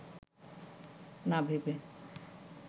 না ভেবে